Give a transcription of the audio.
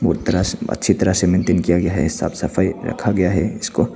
अच्छी तरह से मेंटेन किया गया है साफ सफाई रखा गया है इसको--